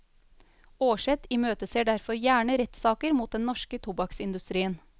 Aarseth imøteser derfor gjerne rettssaker mot den norske tobakksindustrien.